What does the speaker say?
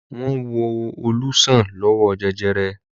Wọ́n wo Olú sàn lọ́wọ́ jẹjẹrẹ.